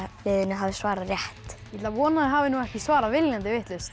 hafi svarað rétt ég að vona að þau hafi ekki svarað viljandi vitlaust